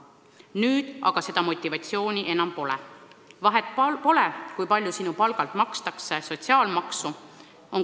Nüüd aga seda motivatsiooni enam pole – vahet ei ole, kui palju sinu palgalt makstakse sotsiaalmaksu.